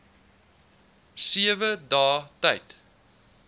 sewe dae tyd